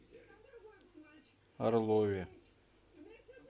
орлове